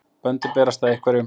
Böndin berast að einhverjum